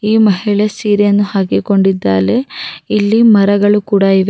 ಈ ಮಹಿಳೆ ಸೀರೆಯನ್ನು ಹಾಕಿಕೊಂಡಿದ್ದಾರೆ ಇಲ್ಲಿ ಮರಗಳು ಕೂಡ ಇವೆ--